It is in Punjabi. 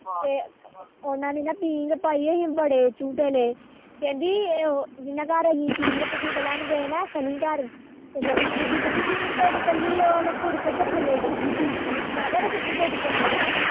ਤੇ ਉਹਨਾ ਨੇ ਨਾ ਪੀਂਘ ਪਾਈ ਹੋਈ ਬੜੇ ਝੁਟੇ ਲਏ ਕਹਿੰਦੀ ਇਹ ਉਹ ਜਿਨਾ ਘਰ ਝੁਟੇ ਲੈਣ ਗਏ ਸਨੀ ਘਰ ਸਨੀ ਦੀ ਬੁੜੀ ਕਹਿੰਦੀ ਪੀੜ ਟੁਟ ਚੱਲੀ ਓ ਮੈ ਪੁੜਕ ਕੇ ਥੱਲੇ ਡਿਗੀ ਮੈ ਖਰੇ ਸੱਚੀ ਟੁੱਟ ਚੱਲੀ ਆ